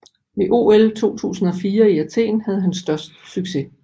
Ved OL 2004 i Athen havde han størst succes